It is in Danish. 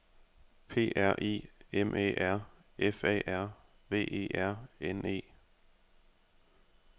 P R I M Æ R F A R V E R N E